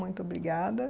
Muito obrigada.